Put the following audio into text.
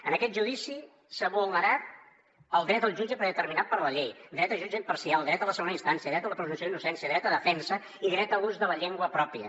en aquest judici s’ha vulnerat el dret al jutge predeterminat per la llei dret a jutge imparcial dret a la segona instància dret a la presumpció d’innocència dret a defensa i dret a ús de la llengua pròpia